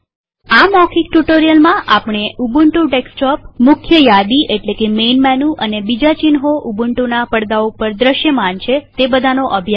આ મૌખિક ટ્યુ્ટોરીઅલમાં આપણે ઉબુન્ટુ ડેસ્કટોપમુખ્ય યાદીમૈન મેનુ અને બીજા ચિહ્નો જે ઉબુન્ટુના પડદા ઉપર ધ્ર્શ્યમાન છે તેનો વિષે અભ્યાસ કર્યો